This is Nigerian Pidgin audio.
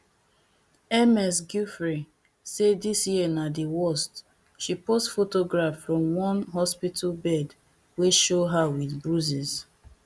ms giuffre say dis year na di worst she post photograph from one hospital bed wey show her wit bruises